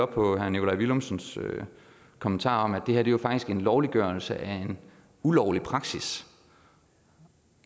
på herre nikolaj villumsens kommentar om at det her jo faktisk er en lovliggørelse af en ulovlig praksis